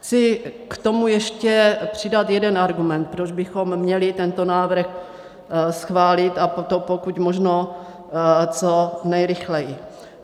Chci k tomu ještě přidat jeden argument, proč bychom měli tento návrh schválit, a to pokud možno co nejrychleji.